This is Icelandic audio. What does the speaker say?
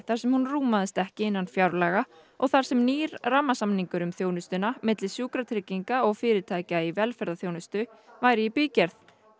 þar sem hún rúmaðist ekki innan fjárlaga og þar sem nýr rammasamningur um þjónustuna milli sjúkratrygginga og fyrirtækja í velferðarþjónustu væri í bígerð